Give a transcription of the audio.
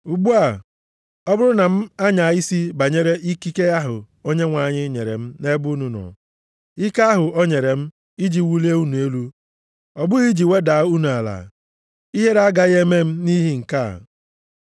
Ugbu a, ọ bụrụ na m anya isi banyere ikike ahụ Onyenwe anyị nyere m nʼebe unu nọ, ike ahụ o nyere m iji wulie unu elu, ọ bụghị iji wedaa unu ala, ihere agaghị eme m nʼihi nke a.